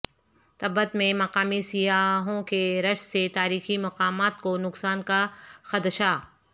تبت میں مقامی سیاحوں کے رش سے تاریخی مقامات کو نقصان کا خدشہ